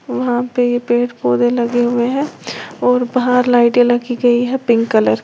वहाँ पे पेड़ पौधे लगे हुए हैं और बाहर लाइटें लगी गई हैं पिंक कलर की--